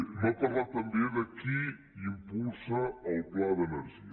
m’ha parlat també de qui impulsa el pla d’energia